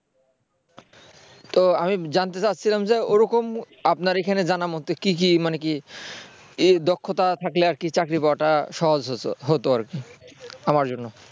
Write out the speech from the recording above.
তো আমি জানতে চাচ্ছিলাম যে ওরকম আপনার এখানে জানা মতে কি কি মানে কি দক্ষতা থাকলে আর কি চাকরি পাওয়াটা সহজ হত আর কি আমার জন্য